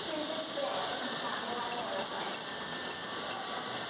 phrases এর পর ব্যাবহার করে হয়